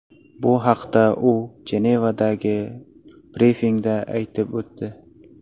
Bu haqda u Jenevadagi brifingda aytib o‘tdi.